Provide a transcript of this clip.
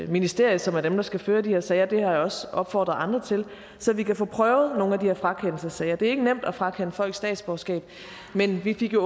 ministerium som er dem der skal føre de her sager det har jeg også opfordret andre til så vi kan få prøvet nogle af de her frakendelsessager det er ikke nemt at frakende folk statsborgerskab men vi fik jo